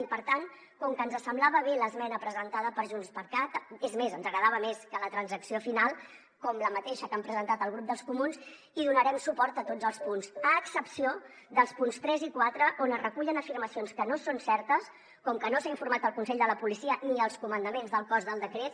i per tant com que ens semblava bé l’esmena presentada per junts per cat és més ens agradava més que la transacció final com la mateixa que han presentat el grup dels comuns hi donarem suport a tots els punts a excepció dels punts tres i quatre on es recullen afirmacions que no són certes com que no s’ha informat el consell de la policia ni els comandaments del cos del decret